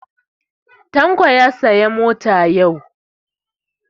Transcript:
Tanko ya saya motar safa yau